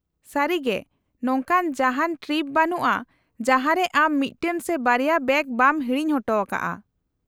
-ᱥᱟᱹᱨᱤᱜᱮ, ᱱᱚᱝᱠᱟᱱ ᱡᱟᱦᱟᱸᱱ ᱴᱨᱤᱯ ᱵᱟᱹᱱᱩᱜᱼᱟ ᱡᱟᱦᱟᱸ ᱨᱮ ᱟᱢ ᱢᱤᱫᱴᱟᱝ ᱥᱮ ᱵᱟᱨᱭᱟ ᱵᱮᱜᱽ ᱵᱟᱢ ᱦᱤᱲᱤᱧ ᱚᱴᱚᱠᱟᱜᱼᱟ ᱾